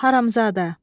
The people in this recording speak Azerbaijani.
Haramsadə.